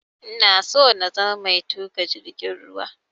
Ina so na zama mai tuƙa jirgin ruwa